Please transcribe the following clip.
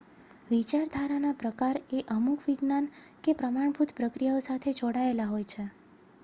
વિચારધારાનાં પ્રકાર એ અમુક વિજ્ઞાન કે પ્રમાણભૂત પ્રક્રિયાઓ સાથે જોડાયેલા હોય છે